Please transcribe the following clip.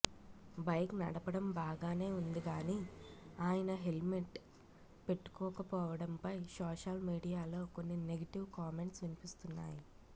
bike నడపడం బాగానే ఉంది గాని ఆయన హెల్మెంట్ పెట్టుకోకపోవడంపై సోషల్ మీడియాలో కొన్ని నెగిటివ్ కామెంట్స్ వినిపిస్తున్నాయి